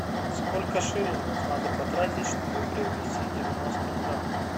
сколько шиллингов надо потратить чтобы приобрести девяносто франков